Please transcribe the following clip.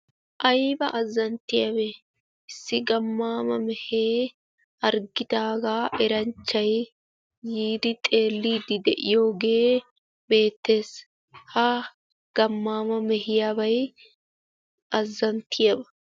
Aybba azanttiyaabe issi gammama meehe harggidaaga eranchchay yiidi xeelide de'iyooge beettees. ha gammama meehiyaaba azanttiyaaba.